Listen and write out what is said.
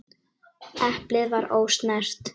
Eplið var ósnert.